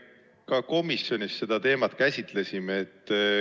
Me ka komisjonis seda teemat käsitlesime.